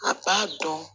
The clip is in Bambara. A b'a dɔn